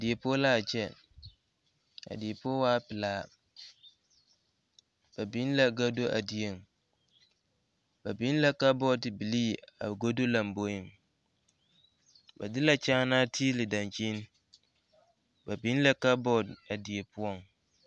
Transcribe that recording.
Die poɔ la a kyɛ a die poɔ waa pelaa ba biŋ la kado a dieŋ ba biŋ la ka kabɔɔte bilii a die lamboeŋ ba de la kyaanaa tilii dankyini ba biŋ la kaabɔl a ɖieŋ